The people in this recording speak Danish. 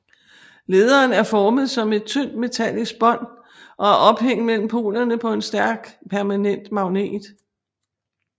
Lederen er formet som et tynd metallisk bånd og er ophængt mellem polerne på en stærk permanent magnet